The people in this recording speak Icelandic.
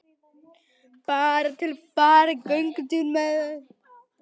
Bara til að fara í göngutúr með þau.